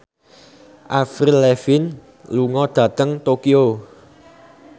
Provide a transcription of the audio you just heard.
Avril Lavigne lunga dhateng Tokyo